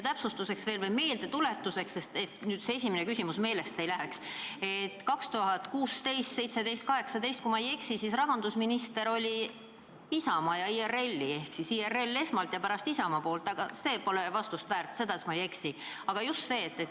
Ma tuletan meelde, et sul see esimene küsimus meelest ei läheks, et aastail 2016, 2017 ja 2018 oli rahandusminister IRL-i ja pärast siis Isamaa esindaja.